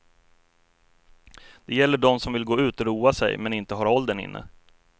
Det gäller dem som vill gå ut och roa sig men inte har åldern inne.